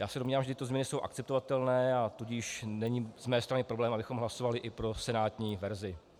Já se domnívám, že tyto změny jsou akceptovatelné, a tudíž není z mé strany problém, abychom hlasovali i pro senátní verzi.